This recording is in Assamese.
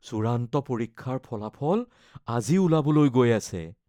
চূড়ান্ত পৰীক্ষাৰ ফলাফল আজি ওলাবলৈ গৈ আছে।